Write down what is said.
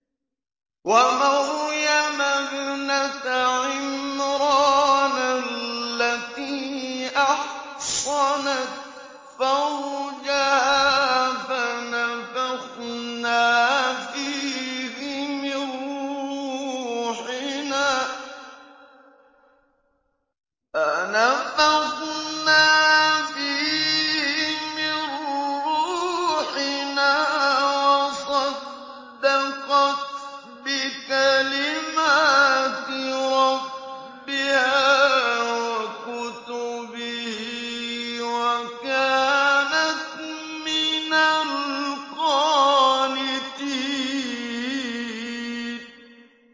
وَمَرْيَمَ ابْنَتَ عِمْرَانَ الَّتِي أَحْصَنَتْ فَرْجَهَا فَنَفَخْنَا فِيهِ مِن رُّوحِنَا وَصَدَّقَتْ بِكَلِمَاتِ رَبِّهَا وَكُتُبِهِ وَكَانَتْ مِنَ الْقَانِتِينَ